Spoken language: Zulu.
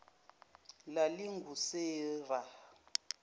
lalingusera